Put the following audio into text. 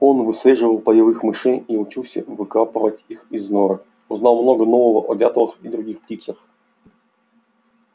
он выслеживал полевых мышей и учился выкапывать их из норок узнал много нового о дятлах и других птицах